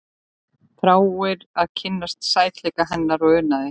Þráir að kynnast sætleika hennar og unaði.